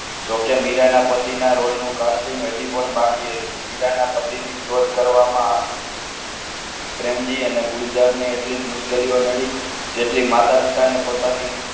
જો કે મીરાના પતિના roll નું casting હજી પણ બાકી હતું મીરાના પતિની શોધ કરવામાં પ્રેમજી અને ગુલઝાને એટલી જ મુશ્કેલીઓ નળી જેટલી માતા-પિતાને પોતાની